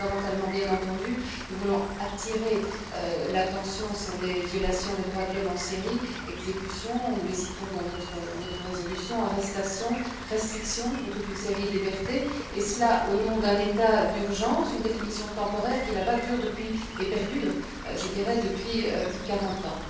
Plus fondamentalement, bien entendu, nous voulons attirer l'attention sur les violations des droits de l'homme en Syrie exécutions nous les citons dans notre résolution arrestations, restrictions à toute une série de libertés et cela au nom d'un état d'urgence, par définition temporaire qui, là bas, dure et perdure depuis plus de quarante ans.